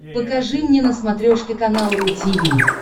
покажи мне на смотрешке канал ру ти ви